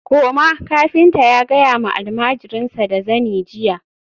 koma! kafinta ya gaya ma almajirinsa da zani jiya